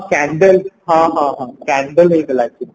ହଁ candle ହଁ ହଁ ହଁ candle ହେଇଥିଲା actually